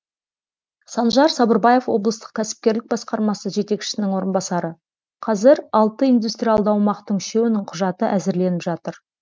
санжар сабырбаев облыстық кәсіпкерлік басқармасы жетекшісінің орынбасары қазір алты индустриалды аумақтың үшеуінің құжаты әзірленіп жатыр